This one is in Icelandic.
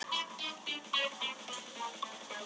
Er það eitthvað sem þið hafið í huga?